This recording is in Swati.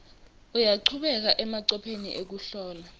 uyachubeka emacophelo ekuhlola